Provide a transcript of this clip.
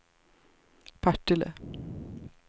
Partille